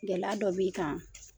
Gɛlɛya dɔ b'i kan?